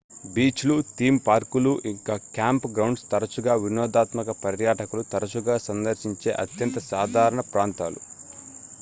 beach లు theme పార్కులు ఇంకా క్యాంప్ గ్రౌండ్స్ తరచుగా వినోదాత్మక పర్యాటకులు తరచుగా సందర్శించే అత్యంత సాధారణ ప్రాంతాలు